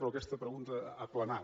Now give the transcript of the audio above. però aquesta pregunta ha planat